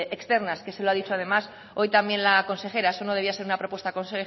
externas que se lo ha dicho además hoy también la consejera eso no debía ser una propuesta